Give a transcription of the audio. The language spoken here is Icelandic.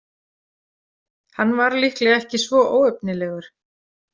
Hann var líklega ekki svo óefnilegur.